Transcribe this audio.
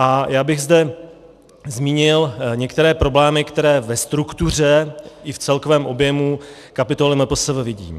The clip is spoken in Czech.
A já bych zde zmínil některé problémy, které ve struktuře i v celkovém objemu kapitoly MPSV vidím.